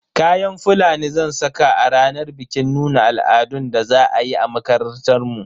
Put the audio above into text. Kayan Fulani zan saka a ranar bikin nuna al'adun da za a yi a makarantar mu.